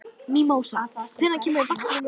Mímósa, hvenær kemur vagn númer fimm?